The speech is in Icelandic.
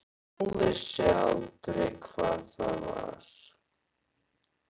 Hún vissi aldrei hvað það var.